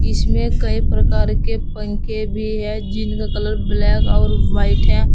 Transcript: इसमें कई प्रकार के पंखे भी हैं जिनका कलर ब्लैक और वाइट है।